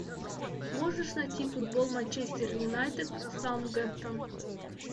можешь найти футбол манчестер юнайтед саутгемптон